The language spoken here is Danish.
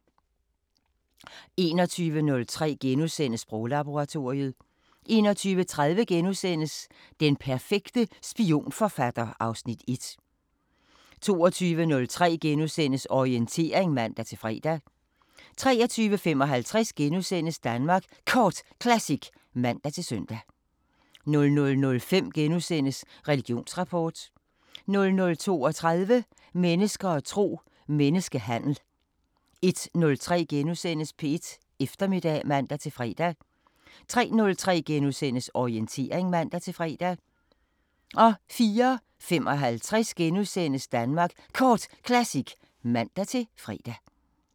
21:03: Sproglaboratoriet * 21:30: Den perfekte spionforfatter (Afs. 1)* 22:03: Orientering *(man-fre) 23:55: Danmark Kort Classic *(man-søn) 00:05: Religionsrapport * 00:32: Mennesker og tro: Menneskehandel 01:03: P1 Eftermiddag *(man-fre) 03:03: Orientering *(man-fre) 04:55: Danmark Kort Classic *(man-fre)